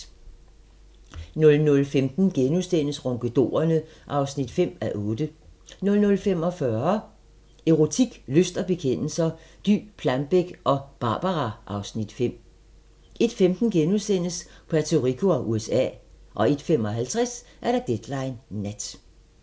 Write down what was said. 00:15: Ronkedorerne (5:8)* 00:45: Erotik, lyst og bekendelser – Dy Plambeck og "Barbara" (Afs. 5) 01:15: Puerto Rico og USA * 01:55: Deadline Nat